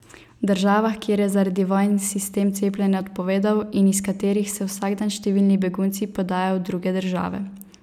V državah, kjer je zaradi vojn sistem cepljenja odpovedal, in iz katerih se vsak dan številni begunci podajajo v druge države.